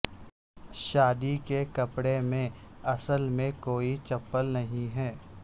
شادی کے کپڑے میں اصل میں کوئی چپل نہیں ہے